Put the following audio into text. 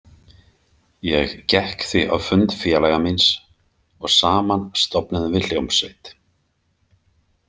Ég gekk því á fund félaga míns og saman stofnuðum við hljómsveit.